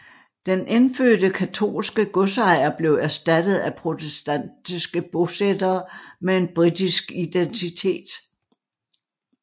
Den indfødte katolske godsejer blev erstattet af protestantiske bosættere med en britisk identitet